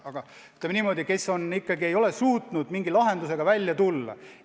Aga nad ei ole suutnud mingi lahendusega välja tulla.